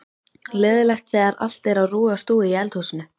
Leiðinlegt þegar allt er á rúi og stúi í eldhúsinu.